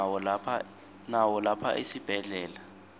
nawo lapha esibhedlela